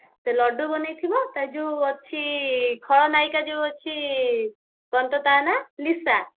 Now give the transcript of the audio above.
ଳଡ୍ଡୁ ବନେଇଥିବ ତାର ଯଉ ଅଛି ଖଳନାୟିକା ଯଉ ଅଛି କଣ ତ ତା ନାଁ ଲିସା